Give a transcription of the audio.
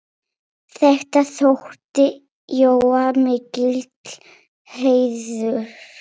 Þetta þótti Jóa mikill heiður.